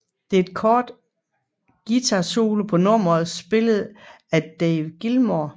Der er en kort guitarsolo på nummeret spillet af David Gilmour